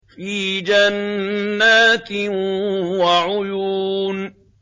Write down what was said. فِي جَنَّاتٍ وَعُيُونٍ